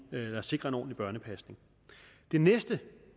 at sikre en ordentlig børnepasning det næste